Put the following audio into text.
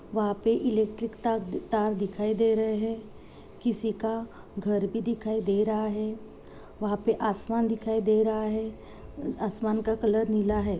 हाँ sound system का setup है यहाँ पे शर्मा ऑडियो का बोल लगा हुआ है।